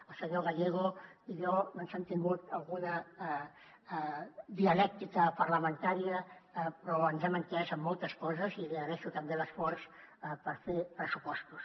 el senyor gallego i jo ens hem tingut alguna dialèctica parlamentària però ens hem entès en moltes coses i li agraeixo també l’esforç per fer pressupostos